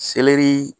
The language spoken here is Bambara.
Selɛri